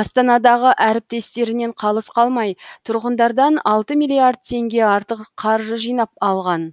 астанадағы әріптестерінен қалыс қалмай тұрғындардан алты миллиард теңге артық қаржы жинап алған